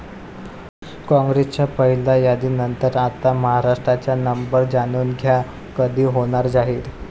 काँग्रेसच्या पहिल्या यादीनंतर आता महाराष्ट्राचा नंबर, जाणून घ्या कधी होणार जाहीर